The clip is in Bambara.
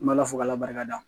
N bɛ ala fo k'a la barika da